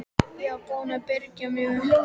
Ég var búin að byrgja mig upp.